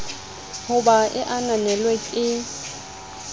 ho ba e ananelwe ke